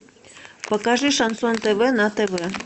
покажи шансон тв на тв